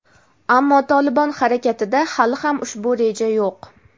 ammo "Tolibon" harakatida hali ham ushbu reja yo‘q.